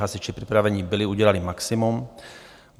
Hasiči připraveni byli, udělali maximum.